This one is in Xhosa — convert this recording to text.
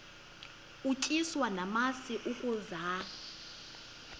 utyiswa namasi ukaze